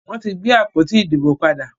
Wọ́n ti gbé àpótí ìdìbò padè.